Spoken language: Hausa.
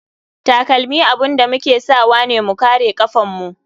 Takalmi abun da muke sawane mu kare kafan mu.